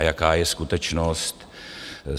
A jaká je skutečnost?